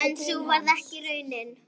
En sú varð ekki raunin.